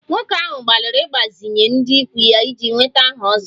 Nwoke ahụ gbalịrị ịgbazinye ndị ikwu ya iji nweta aha 'ozo'